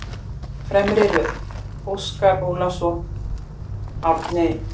Fremri röð: Óskar Ólafsson, Árni